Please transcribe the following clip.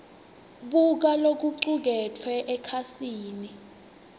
buka lokucuketfwe ekhasini